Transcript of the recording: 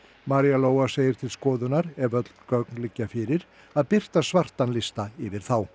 María Lóa segir til skoðunar ef öll gögn liggja fyrir að birta svartan lista yfir þá